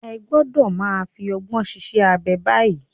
Ẹ gbọ́dọ̀ máa fi ọgbọ́n ṣiṣẹ́ abẹ báyìí.